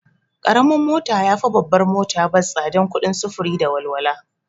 Karamin mota yafi babbar mota bas tsadan kuɗin sufuru da walwala